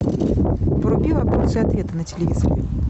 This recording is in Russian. вруби вопросы и ответы на телевизоре